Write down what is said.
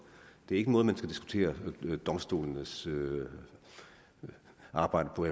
det er ikke en måde man skal diskutere domstolenes arbejde på